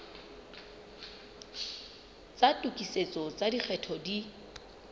tsa tokisetso tsa lekgetho di